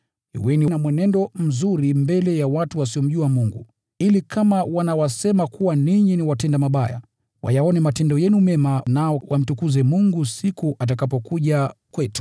Kuweni na mwenendo mzuri mbele ya watu wasiomjua Mungu, ili kama wanawasingizia kuwa watenda mabaya, wayaone matendo yenu mema nao wamtukuze Mungu siku atakapokuja kwetu.